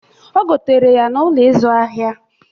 Ogetere ya n'Ụlọ ịzụ ahịa.